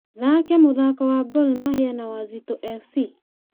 thaake mũthaako wa gor mahia na wazito f.c